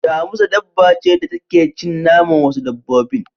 Damusa dabba ce da take cin naman wasu dabbobin.